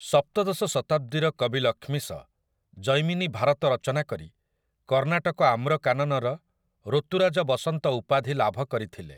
ସପ୍ତଦଶ ଶତାବ୍ଦୀର କବି ଲକ୍ଷ୍ମିଶ 'ଜୈମିନୀ ଭାରତ' ରଚନା କରି 'କର୍ଣ୍ଣାଟକ ଆମ୍ରକାନନର ଋତୁରାଜ ବସନ୍ତ' ଉପାଧି ଲାଭ କରିଥିଲେ ।